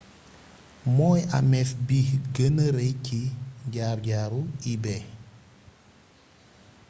mooy amef bi gëna rey ci jaar jaaru ebay